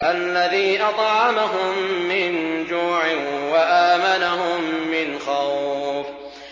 الَّذِي أَطْعَمَهُم مِّن جُوعٍ وَآمَنَهُم مِّنْ خَوْفٍ